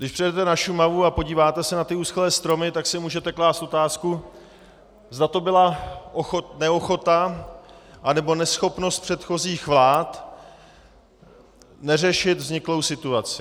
Když přijedete na Šumavu a podíváte se na ty uschlé stromy, tak si můžete klást otázku, zda to byla neochota anebo neschopnost předchozích vlád neřešit vzniklou situaci.